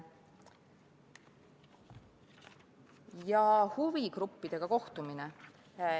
Ja huvigruppidega kohtumine.